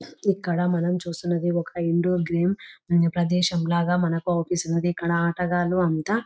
ఇక్కడ మనం చూస్తూ ఉన్నది ఒక ఇండోర్ గేమ్ ఎక్కడ ప్రదేశం అంతా ఆటగాళ్లు --